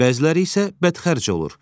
Bəziləri isə bədxərc olur.